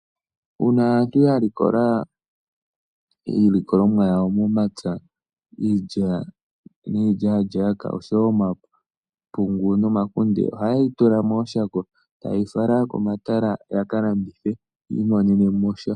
Uuna aantu ya likola iilikolomwa yawo momapya iilya, iilyalyaka oshowo omapungu nomakunde oha yeyi tula mooshako etaye yi fala komatala ya kalandithe yi imonene mo sha.